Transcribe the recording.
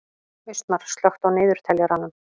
Austmar, slökktu á niðurteljaranum.